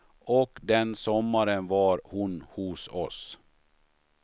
Och den sommaren var hon hos oss.